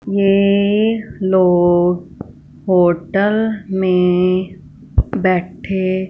ये लोग होटल में बैठे--